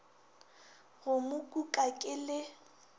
go mo kuka ke le